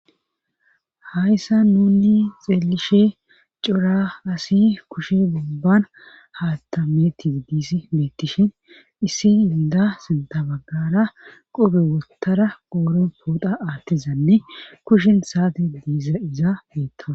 Hayssa nunni xeelishe cora asi kushi ubban haaththa mettidi beettishin issi inda sinta baggara qobe wottara ooron pooda aattizanne kushin saati diiza izaa beettana.